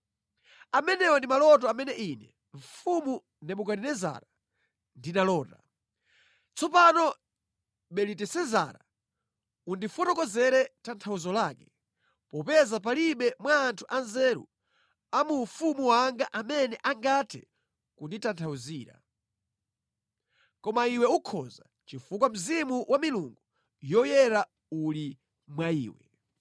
“Amenewa ndi maloto amene ine, mfumu Nebukadinezara, ndinalota. Tsopano Belitesezara, undifotokozere tanthauzo lake, popeza palibe mwa anthu anzeru a mu ufumu wanga amene angathe kunditanthauzira. Koma iwe ukhoza, chifukwa mzimu wa milungu yoyera uli mwa iwe.”